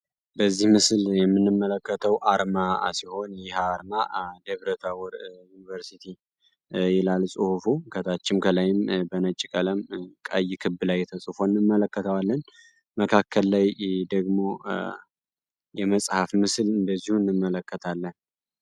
በዚህ ምስል የምንመለከተው አርማ ሲሆን ይህ አርማ ደብረታቦር ዮኒቨርሲቲ ይላል ፅሁፉ ከታችም ከላይም በነጭ ቀለም ቀይ ክብ ላይ ተፅፎ እንመለከተዋለን መካከል ላይ ደግሞ የመፅሐፍ ምስል እንደዚሁ እንመለከታለን።